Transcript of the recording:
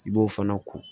I b'o fana ko